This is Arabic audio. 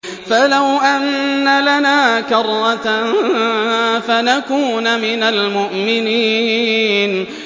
فَلَوْ أَنَّ لَنَا كَرَّةً فَنَكُونَ مِنَ الْمُؤْمِنِينَ